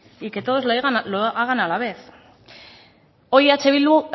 y que todos lo hagan a la vez hoy eh bildu